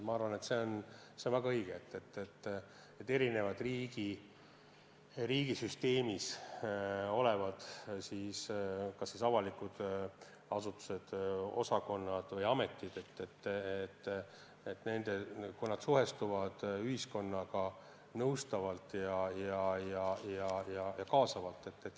Ma arvan, et on väga õige, kui erinevad riigisüsteemis olevad avalikud asutused, nende osakonnad või ametid suhestuvad ühiskonnaga nõustavalt ja kaasavalt.